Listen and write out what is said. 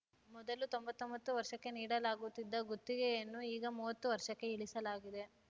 ಮೊದಲು ತೊಂಬತ್ತೊಂಬತ್ತು ವರ್ಷಕ್ಕೆ ನೀಡಲಾಗುತ್ತಿದ್ದ ಗುತ್ತಿಗೆಯನ್ನು ಈಗ ಮೂವತ್ತು ವರ್ಷಕ್ಕೆ ಇಳಿಸಲಾಗಿದೆ